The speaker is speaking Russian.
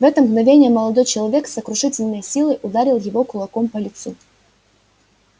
в это мгновение молодой человек с сокрушительной силой ударил его кулаком по лицу